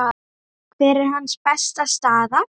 Hver er hans besta staða?